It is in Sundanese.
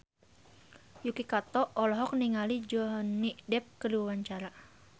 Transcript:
Yuki Kato olohok ningali Johnny Depp keur diwawancara